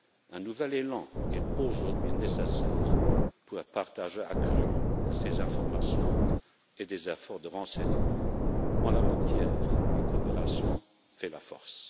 Un nouvel élan est aujourd'hui nécessaire pour un partage accru de ces informations et des efforts de renseignements. En la matière, la coopération fait la force.